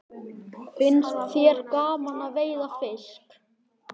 Finnst þér gaman að veiða fisk?